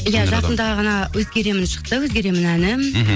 иә жақында ғана өзгеремін шықты өзгеремін әні мхм